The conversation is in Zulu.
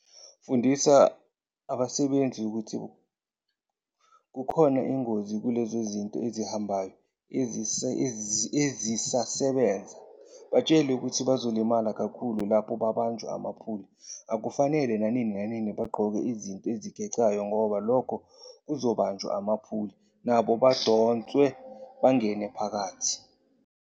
Fundisa abasebenzi ukuthi kukhona ingozi kulezo zinto ezihambayo ezisasebenza, batshele ukuthi bazolimala kakhulu lapho babanjwa amaphuli. Akufenele nanini bagqoke izinto ezixegayo ngoba lokhu kuzobanjwa amaphuli nabo badonswe bangene phakathi.